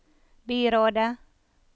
byrådet